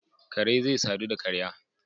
Kare zai sadu da karya